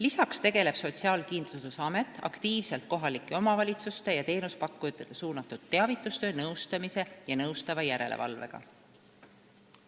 Lisaks tegeleb Sotsiaalkindlustusamet aktiivselt kohalike omavalitsuste ja teenusepakkujatele suunatud teavitustöö, nõustamise ja nõustava järelevalvega.